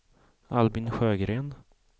Albin Sjögren